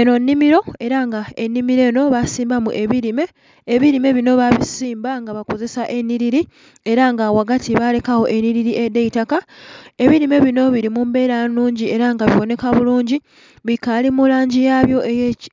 Enho nnhimilo era nga enhimilo enho basimbamu ebilime, ebilime binho babisimba nga bakozesa enhiliri era nga ghagati balekagho enhiliri edh'eitaka, ebilime binho bili mumbela nnhungi era nga ghabonheka bulungi bikali mulangi yabyo